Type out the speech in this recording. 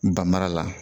Banmara la